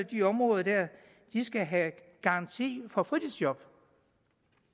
de områder der skal have garanti for fritidsjob